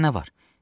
Sənə nə var?